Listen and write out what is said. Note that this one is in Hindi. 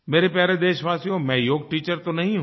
मेरे प्यारे देशवासियो मैं योग टीचर तो नहीं हूँ